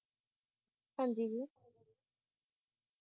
ਹਾਂ ਜੀ ਜੀ